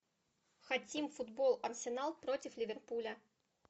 хотим футбол арсенал против ливерпуля